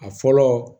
A fɔlɔ